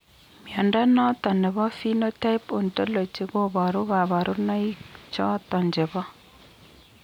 Mnyondo noton nebo Phenotype Ontology koboru kabarunaik choton chebo